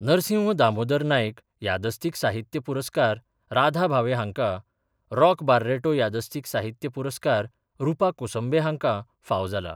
नरसिंह दामोदर नायक यादस्तीक साहित्य पुरस्कार राधा भावे हाँका, रॉक बार्रेटो यादस्तीक साहित्य पुरस्कार रुपा कोसंबे हाँका फावो जाला.